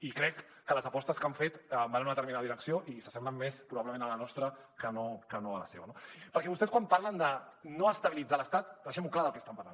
i crec que les apostes que han fet van en una determinada direcció i s’assemblen més probablement a la nostra que no a la seva no perquè vostès quan parlen de no estabilitzar l’estat deixem clar del que estan parlant